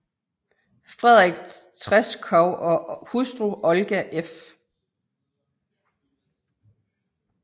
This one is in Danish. Frederik Treschow og hustru Olga f